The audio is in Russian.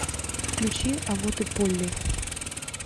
включи а вот и полли